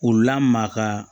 U lamaka